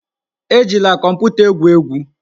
Ejila kọmputa egwu egwu!